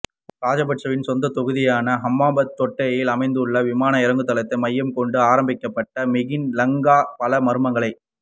ராஜபக்சவின் சொந்தத் தொகுதியான ஹம்பாந்தோட்டையில் அமைந்துள்ள விமான இறங்குதளத்தை மையமாகக் கொண்டு ஆரம்பிக்கப்பட்ட மிகின் லங்கா பல மர்மங்களைக்